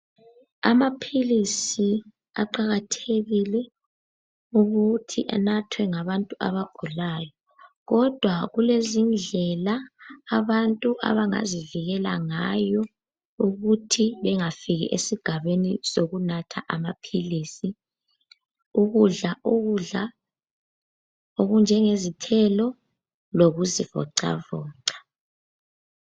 Amaphilisi aqakathekile ukuthi anathwe ngabantu abagulayo kodwa kulezindlela abantu abangazivikela ngayo ukuthi bengafiki esigabeni sokunatha amaphilisi. Ukudla ukudla okunjengezithelo lokuzivocavoca.